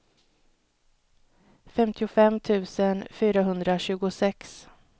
femtiofem tusen fyrahundratjugosex